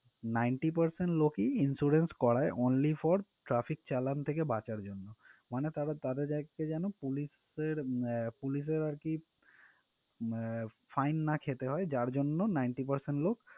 ninety percent লোকই insurance করায় only for traffic চালান থেকে বাঁচার জন্য মানে তাদের যেন police এর আহ police এর আরকি উম fine না খেতে হয় যার জন্য ninty percent লোক